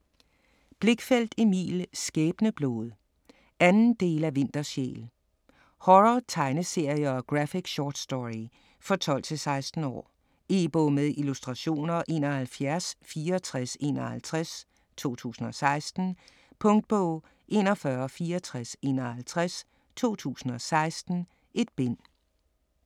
Blichfeldt, Emil: Skæbneblod 2. del af Vintersjæl. Horror tegneserie og graphic short story. For 12-16 år. E-bog med illustrationer 716451 2016. Punktbog 416451 2016. 1 bind.